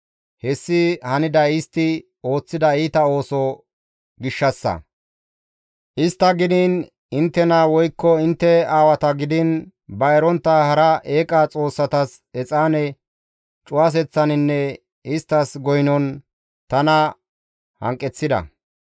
Hessi haniday istti ooththida iita ooso gishshassa; istta gidiin, inttena woykko intte aawata gidiin, ba erontta hara eeqa xoossatas exaane cuwaseththaninne isttas goynon tana hanqeththida.